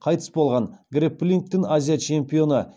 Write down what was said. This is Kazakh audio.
қайтыс болған грэпплингтен азия чемпионы